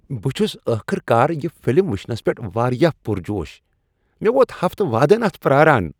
بہٕ چھس ٲخٕر کار یہ فلم وُچھنس پیٹھ واریاہ پرجوش ۔ مے٘ ووت ہفتہٕ وادن اتھ پراران ۔۔